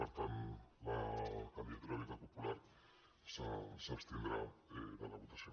per tant la candidatura d’unitat popular s’abstindrà en la votació